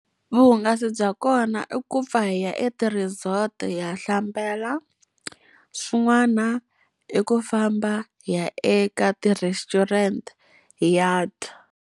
Vuhungasi bya kona i ku pfa hi ya eti-resort hi ya hlambela, swin'wana i ku famba hi ya eka ti-restaurant hi ya dya.